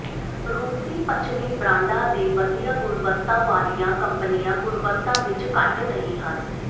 ਰੂਸੀ ਪੱਛਮੀ ਬ੍ਰਾਂਡਾਂ ਦੇ ਵਧੀਆ ਗੁਣਵੱਤਾ ਵਾਲੀਆਂ ਕੰਪਨੀਆਂ ਗੁਣਵੱਤਾ ਵਿੱਚ ਘੱਟ ਨਹੀਂ ਹਨ